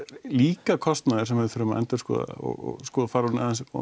líka kostnaður sem við þurfum að endurskoða og fara aðeins